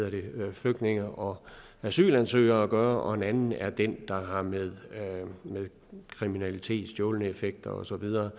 flygtninge og asylansøgere at gøre og en anden er den der har med kriminalitet og stjålne effekter og så videre